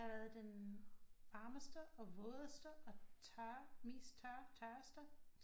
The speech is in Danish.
Det har været den varmeste og vådeste og tørre mest tørre tørreste